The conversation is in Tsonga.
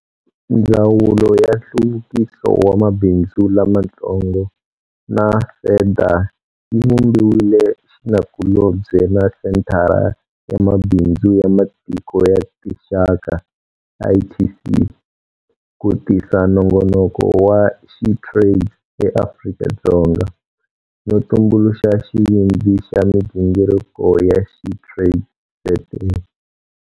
Ndzawulo ya Nhluvukiso wa Mabindzu Lamatsongo na SEDA yi vumbile xinakulobye na Senthara ya Mabindzu ya Matiko ya Tinxaka, ITC, ku tisa nongonoko wa SheTrades eAfrika-Dzonga, no tumbuluxa xivindzi xa migingiriko ya SheTradesZA.